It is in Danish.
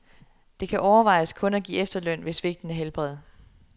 Det kan overvejes kun at give efterløn ved svigtende helbred.